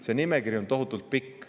See nimekiri on tohutult pikk.